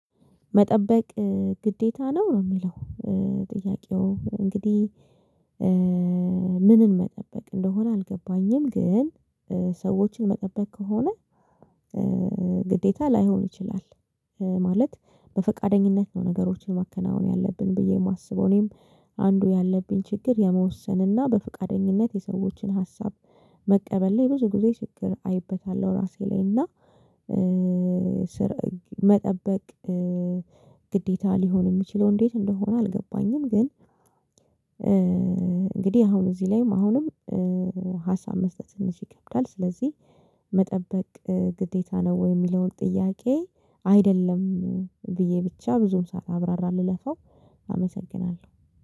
መጠበቅ ግዴታ ነው ነው የሚለው ጥያቄው እንግዲህ ምንን መጠበቅ እንደሆነ አልገባኝም። ግን ሰዎችን መጠበቅ ከሆነ። ግዴታ ላይሆን ይችላል ማለት በፈቃደኝነት ነው ነገሮችን ማከናወን ያለብን ብዬ የማስበው። እኔም አንዱ ያለብኝ ችግር የመወሰንና በፍቃደኝነት የሰዎችን ሀሳብ መቀበል ላይ ብዙ ጊዜ ችግር አይበታለሁ ራሴ ላይ እና። መጠበቅ ግዴታ ሊሆን የሚችለው እንዴት እንደሆነ አልገባኝም። ግን እንግዲህ አሁን እዚህ ላይም አሁንም ሀሳብ መስጠት ይከብዳል። ስለዚህ መጠበቅ ግዴታ ነው ወይ? የሚለውን ጥያቄ አይደለም ብዬ ብቻ ብዙም ሳላብራራ ልለፋው። አመሰግናለሁ